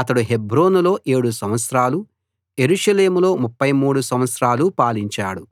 అతడు హెబ్రోనులో 7 సంవత్సరాలు యెరూషలేములో 33 సంవత్సరాలు పాలించాడు